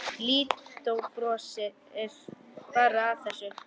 Lídó brosir bara að þessu.